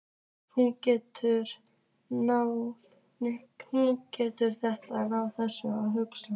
Hún gerir þetta án þess að hugsa.